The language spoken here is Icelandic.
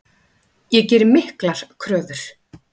Ég geri miklar kröfur.